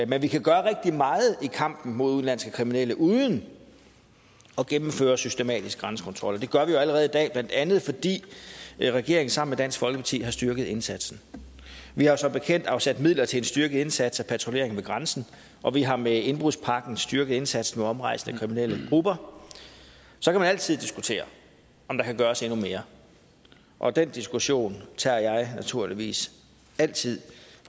vi kan gøre rigtig meget i kampen mod udenlandske kriminelle uden at gennemføre systematisk grænsekontrol det gør vi jo allerede i dag blandt andet fordi regeringen sammen med dansk folkeparti har styrket indsatsen vi har som bekendt afsat midler til en styrket indsats og patruljering ved grænsen og vi har med indbrudspakken styrket indsatsen mod omrejsende kriminelle grupper så kan man altid diskutere om der kan gøres endnu mere og den diskussion tager jeg naturligvis altid